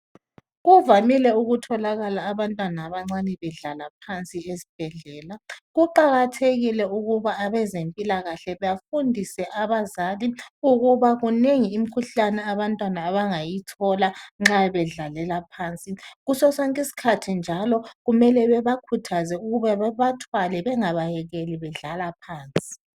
Kuvamile ukutholakala abantwana abancane bedlala phansi esibhedlela. Kuqakathekile ukuba abezempilakahle bafundise abazali ukuba kunengi imkhuhlane abantwana abangayithola nxa bedlalela phansi. Kusosonke isikhathi njalo, kumele bebakhuthaze ukuba bebathwale bengabayekeli bedlala phansi.